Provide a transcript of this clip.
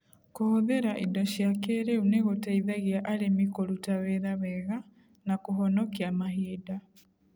Kũhũthĩra indo cia kĩĩrĩu nĩ gũteithagia arĩmi kũruta wĩra wega na kũhonokia mahinda.